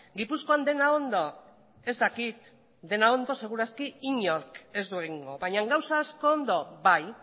gipuzkoan dena ondo ez dakit dena ondo seguru inork ez du egingo baina gauza asko ondo bai